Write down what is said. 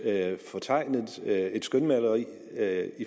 fortegnet billede et skønmaleri af